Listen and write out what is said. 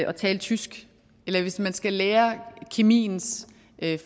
at tale tysk eller hvis man skal lære kemiens